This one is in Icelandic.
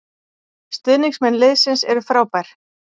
Stuðningsmenn liðsins eru frábær